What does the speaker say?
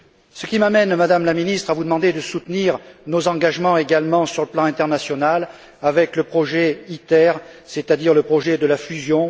Ce qui m'amène, Madame la Présidente, à vous demander de soutenir également nos engagements sur le plan international avec le projet ITER, c'est à dire le projet de la fusion.